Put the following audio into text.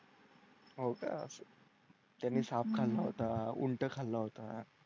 हो का त्यांनी साप खाल्ला होता खाल्ला होता